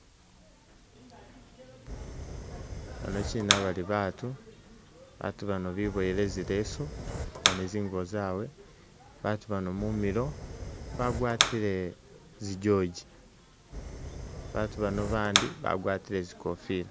Bano kyina bali batu batu bano bibowele zilesu ni zingubo zawe , batu bano mumilo bagwatile zijoji batu bano bandi bagwatile zikofila .